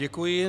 Děkuji.